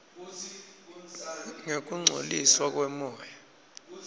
ngekungcoliswa kwemoya